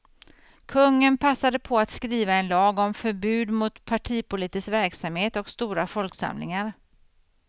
Kungen passade på att skriva en lag om förbud mot partipolitisk verksamhet och stora folksamlingar.